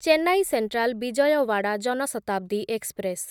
Chennai central Vijayawada Jan Shatabdi express